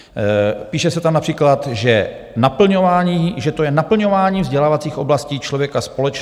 Píše se tam například, že to je "naplňování vzdělávacích oblastí člověka společ.